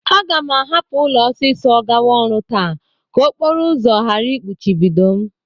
Aga m ahụpụ ụlọ ọsịsọ gawa ọrụ taa ka okporo ụzọ gara ịkpụchibido m.